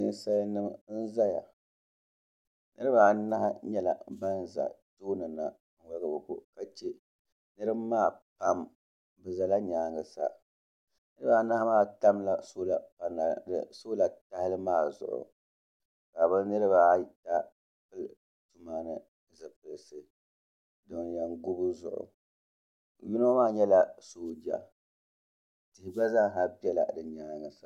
nisalinim n zaya niribaanahi nyɛla ban za tuuni na ka waligi bɛ ko ka chɛ niriba maa pam be zala nyɛŋa sa niribaanahi maa tamila ka bi niebaata bɛ tuuni sa ban yɛn gubi zuɣ' yino maa nyɛla sooja o gba zaa sa bɛla bi nyɛŋa